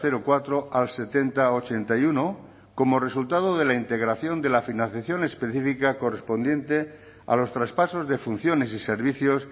coma cuatro por ciento al setenta coma ochenta y uno por ciento como resultado de la integración de la financiación específica correspondiente a los traspasos de funciones y servicios